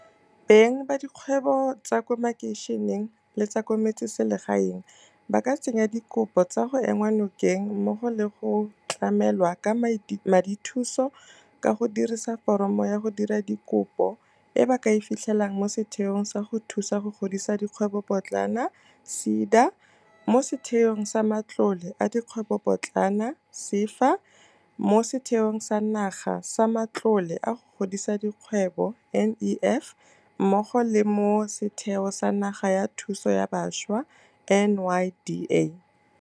Beng ba dikgwebo tsa ko makeišeneng le tsa ko metseselegaeng ba ka tsenya dikopo tsa go enngwa nokeng, mmogo le tsa go tlamelwa ka madithuso, ka go dirisa foromo ya go dira dikopo e ba ka e fitlhelang mo Setheong sa go Thusa go Godisa Dikgwebopotlana SEDA, mo Setheong sa Matlole a Dikgwebopotlana SEFA, mo Setheong sa Naga sa Matlole a go Godisa Dikgwebo NEF mmogo le mo Setheo sa Naga sa Thuso ya Bašwa NYDA.